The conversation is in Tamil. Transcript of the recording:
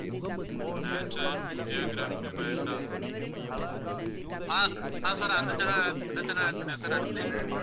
நேஷனல் ஜியோக்ராஃபிக் வைல்டா ஆஹ் அஹ் sir அந்த channel அந்த channel add பண்ணியாச்சு sir அடுத்து?